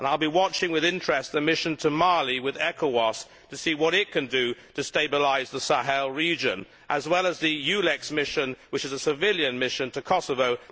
I will be watching with interest the mission to Mali with ECOWAS to see what it can do to stabilise the Sahel region, as well as the EULEX mission, which is a civilian mission to Kosovo.